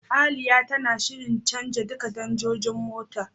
Aliya tana shirin canja duka danjojin motar ta.